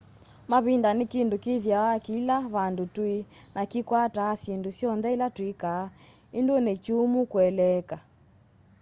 mavinda ni kindu kithiawa kila vandu tui na kikwataa syindu syonthe ila twikaa indu ni kyumu kueleeka